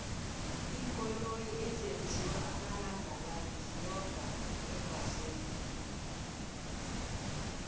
iinkoloyi ezenzwa amalangala ziyonga eembaselini